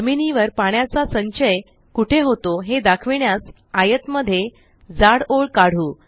जमिनीवर पाण्याचा संचय कुठे होतो हे दाखविण्यास आयत मध्ये जाड ओळ काढू